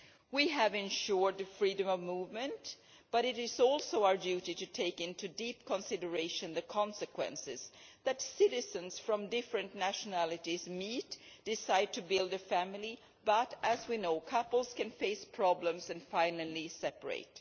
We have ensured freedom of movement, but it is also our duty to take into deep consideration the consequences that citizens from different nationalities meet and decide to build a family, but as we know, couples can face problems and finally separate.